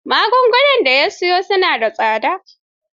Magungunan da ya siyo na da tsada.